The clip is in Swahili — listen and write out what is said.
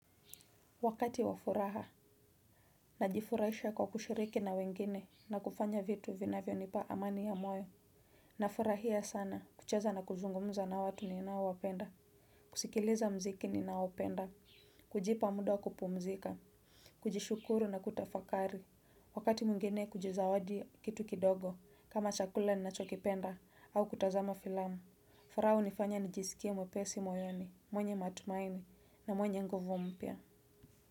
Wakati wafuraha na jifurahisha kwa kushiriki na wengine na kufanya vitu vinavyo nipa amani ya moyo nafurahia sana kucheza na kuzungumza na watu ninao wapenda kusikiliza muziki ninaopenda, kujipa muda wa kupumzika, kujishukuru na kutafakari wakati mwingine kujizawadi kitu kidogo kama chakula ni nachokipenda au kutazama filamu. Furaha hunifanya nijisikia mwepesi moyoni, mwenye matumaini na mwenye nguvu mpya Muzika.